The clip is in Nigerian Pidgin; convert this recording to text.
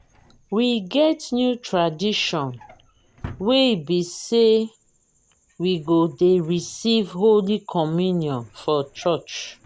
we get new tradition wey be say we go dey receive holy communion for church